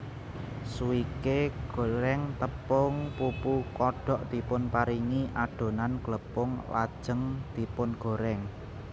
Swike goreng tepung pupu kodok dipunparingi adonan glepung lajeng dipungorèng